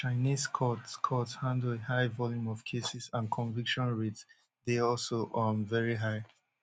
chinese courts courts handle a high volume of cases and conviction rates dey also um veri high